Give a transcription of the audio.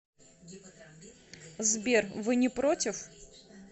сбер вы не против